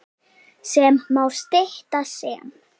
sem má stytta sem